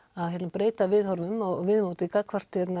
breyta viðhorfi og viðmóti gagnvart